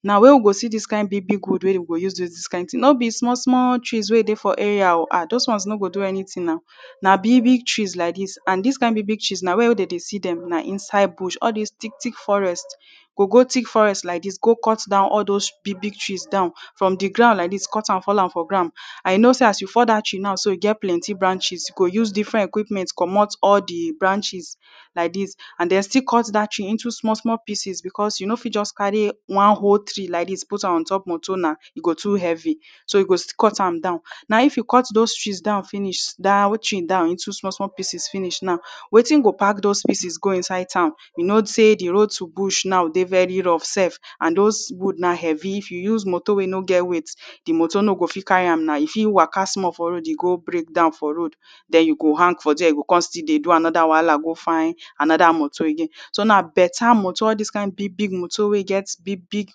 Na where we go see dis kind big big wood wey we go use do dis kind thing. No be snmall small trees wey dey for area oh. ah! Dos one no go do anything Na big big trees like dis and dis kind big big trees na where dem dey see dem na inside bush. All dis thick thick forest. You go go thick forest like dis go cut down all dos big big trees down. From the ground like dis, cut am fall am for ground. And you know sey as you fall dat tree now so, e get plenty branches. You go use different equipment comot all the branches like dis and den still cut dat trees into small small pieces because you no fit just carry one whole tree like dis put am ontop motor na. E go too heavy. So you go cut am down. Now if you cut dos trees down finish [2] [2] down into small small pieces finish now, wetin go pack dos pieces go inside town. You know sey the road to bush dey very rough self and dos wood na heavy. If you use motor wey no get weight, the motor no go fit carry am na. E fit waka small for road, e go break down for road. Den you hang for dere, you go con still dey do another wahala go find another motor again. So na better motor. All dis kind big big motor wey get big big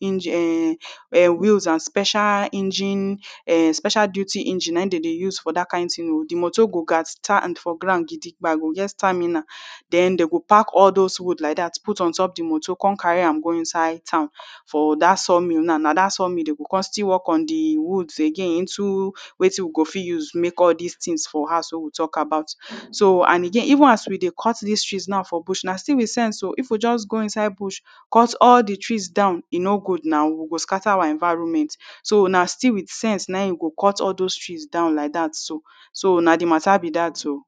engine ern wheels and special engine ern special duty engine na im dem dey use for dat kind thing oh. The motor go gat stand for ground gidigba, go get stamina. Den dem go pack all dos wood like dat put ontop the motor con carry am go inside town for dat sawmill now. Na dat sawmill dem go con still work on the woods again into wetin we go fit use make all dis things for house wey we talk about. Urh so and again even as we dey cut des trees now for bush, na still with sense oh. If we just go inside bush, cut all the trees down, e no good now. We go scatter our environment. So na still with sense na im we go cut all dos trees down likde dat so. So na the matter be dat oh.